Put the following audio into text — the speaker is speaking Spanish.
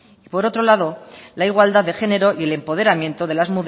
y por otro lado la igualdad de género y el empoderamiento de las